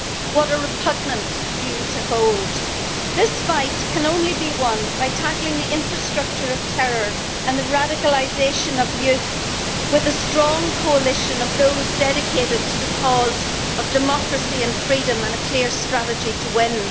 What a repugnant view to hold! This fight can only be won by tackling the infrastructure of terror and the radicalisation of youth with a strong coalition of those dedicated to the cause of democracy and freedom and a clear strategy to win.